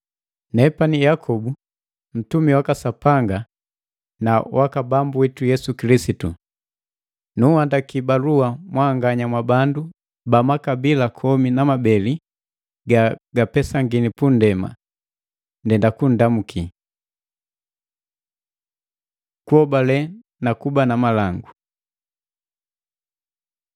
Nepani Yakobu ntumi waka Sapanga na waka Bambu witu Yesu Kilisitu. Nunhandaki balua mwanganya mwabandu ba makabila komi na mabeli ga gapesangini punndema. Ndenda kunndamu! Kuhobale na kuba na malangu